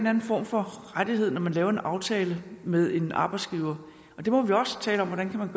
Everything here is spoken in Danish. anden form for rettighed når man laver en aftale med en arbejdsgiver og det må vi også tale om hvordan man